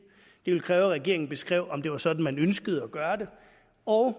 ville kræve at regeringen beskrev om det var sådan man ønskede at gøre det og